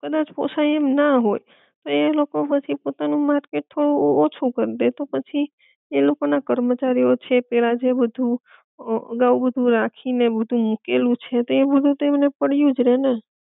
કદાચ પોસાય એમ ના હોય તો એ લોકો પછી પોતાનું માર્કેટ થોડું ઓછું કરી દેય તો પછી એ લોકો ના કર્મચારી ઑ છે પેલા જે બધુ અ અગાઉ બધુ રાખી ને બધુ મૂકેલું છે તે બધુ તો એમને પડ્યું જ રે ને